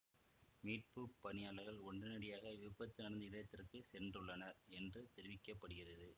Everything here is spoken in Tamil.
மீட்பு பணியாளர்கள் உடனடியாக விபத்து நடந்த இடத்துக்கு சென்றுள்ளனர் என்று தெரிவிக்க படுகிறது